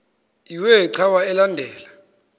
iwe cawa elandela